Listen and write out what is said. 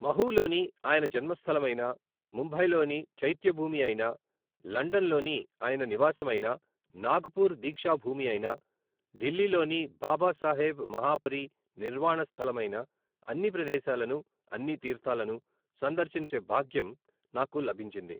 మహూలోని ఆయన జన్మస్థలమైనా, ముంబైలోని చైత్యభూమి అయినా, లండన్ లోని ఆయన నివాసమైనా, నాగ్ పూర్ దీక్షా భూమి అయినా, ఢిల్లీలోని బాబాసాహెబ్ మహాపరి నిర్వాణస్థలమైనా అన్ని ప్రదేశాలను, అన్ని తీర్థాలను సందర్శించే భాగ్యం నాకు లభించింది.